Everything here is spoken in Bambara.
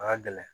A ka gɛlɛn